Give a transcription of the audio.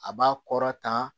A b'a kɔrɔtan